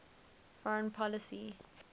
foreign policy e